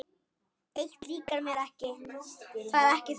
Eitt líkar mér ekki.